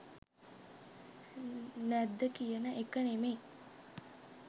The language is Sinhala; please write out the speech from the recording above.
නැද්ද කියන එක නෙමෙයි